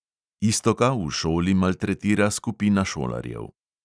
Iztoka v šoli maltretira skupina šolarjev.